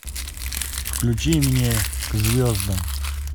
включи мне к звездам